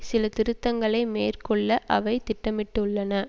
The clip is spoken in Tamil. சில திருத்தங்களை மேற்கொள்ள அவை திட்டமிட்டுள்ளன